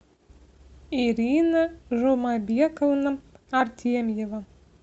ирина жумабековна артемьева